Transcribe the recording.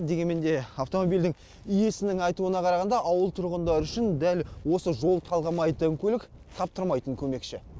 дегенмен де автомобильдің иесінің айтуына қарағанда ауыл тұрғындары үшін дәл осы жол талғамайтын көлік таптырмайтын көмекші